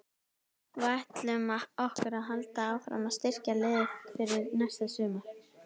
Við ætlum okkur að halda áfram að styrkja liðið fyrir næsta sumar.